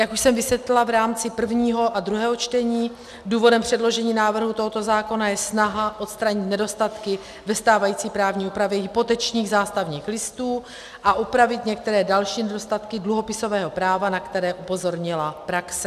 Jak už jsem vysvětlila v rámci prvního a druhého čtení, důvodem předložení návrhu tohoto zákona je snaha odstranit nedostatky ve stávající právní úpravě hypotečních zástavních listů a upravit některé další nedostatky dluhopisového práva, na které upozornila praxe.